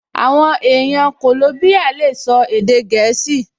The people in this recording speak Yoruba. Àwọn èèyàn kòlóbíyà lè sọ èdè gẹ̀ẹ́sì